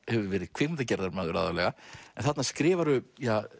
hefur verið kvikmyndagerðarmaður aðallega en þarna skrifarðu